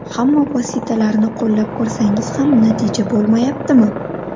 Hamma vositalarni qo‘llab ko‘rsangiz ham natija bo‘lmayaptimi?